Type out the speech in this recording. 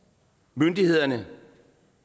myndighederne